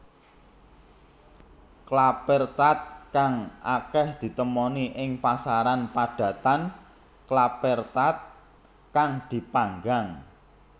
Klappertaart kang akeh ditemoni ing pasaran padatan klappertaart kang dipanggang